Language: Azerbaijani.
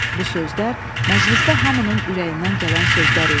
Bu sözlər məclisdə hamının ürəyindən gələn sözlər idi.